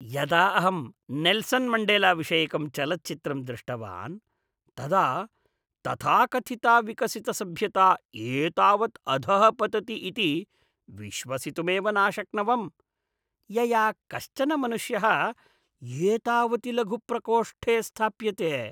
यदा अहं नेल्सन् मण्डेलाविषयकं चलच्चित्रं दृष्टवान्, तदा तथाकथिता विकसितसभ्यता एतावत् अधः पतति इति विश्वसितुमेव नाशक्नवम्, यया कश्चन मनुष्यः एतावति लघुप्रकोष्ठे स्थाप्यते।